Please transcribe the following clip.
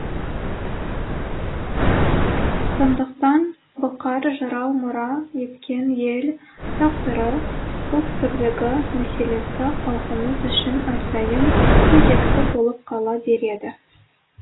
сондықтан бұқар жырау мұра еткен ел тағдыры ұлт бірлігі мәселесі халқымыз үшін әрдайым өзекті болып қала береді